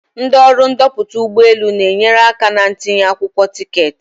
Ndị ọrụ ndoputa ụgbọ elu na-enyere aka na ntinye akwụkwọ tiketi.